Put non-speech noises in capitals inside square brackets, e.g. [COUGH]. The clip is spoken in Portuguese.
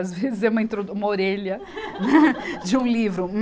Às vezes, é uma introdu, uma orelha [LAUGHS] de um livro.